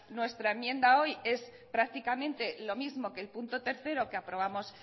nuestra enmienda hoy es prácticamente lo mismo que el punto tres que aprobamos